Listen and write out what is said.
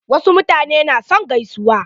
Wasu mutanen na son gaisuwa.